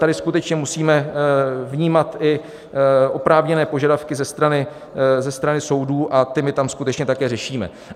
Tady skutečně musíme vnímat i oprávněné požadavky ze strany soudů, a ty my tam skutečně také řešíme.